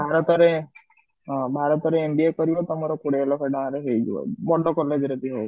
ଭାରତ ରେ ଅ ଭାରତ ରେ MBA କରିବ ତମର କୋଡିଏ ଲକ୍ଷ ଟଙ୍କାରେ ହେଇଯିବ ଭଲ college ରେ ବି ହଉ